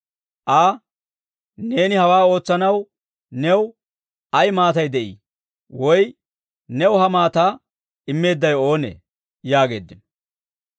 Aa, «Neeni hawaa ootsanaw new ay maatay de'ii? Woy new ha maataa immeeddawe oonee?» yaageeddino.